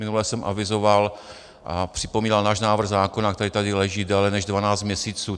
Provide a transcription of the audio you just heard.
Minule jsem avizoval a připomínal náš návrh zákona, který tady leží déle než dvanáct měsíců.